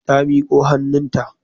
Ta miko hannunta.